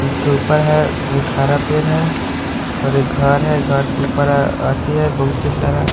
उसके ऊपर है एक हरा पेर है और एक घर है घर के ऊपर अति है बहुते सारा--